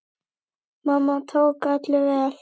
Mamma tók öllum vel.